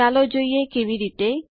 ચાલો જોઈએ કેવી રીતે